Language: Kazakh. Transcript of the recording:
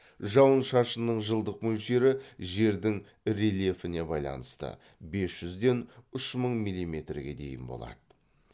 жауын шашынның жылдық мөлшері жердің рельефіне байланысты бес жүзден үш мың милиметрге дейін болады